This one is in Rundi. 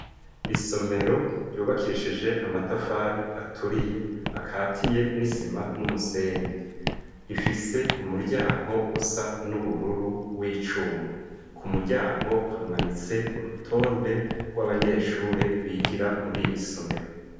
Isomero ryubakishije amatafari aturiye akatiye n'isima n'umusenyi, rifise umuryango usa n'ubururu w'icuma, ku muryango hamanitse urutonde rw'abanyeshure bigira muri iri somero.